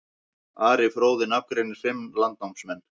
Ari fróði nafngreinir fimm landnámsmenn.